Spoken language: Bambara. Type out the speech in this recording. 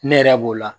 Ne yɛrɛ b'o la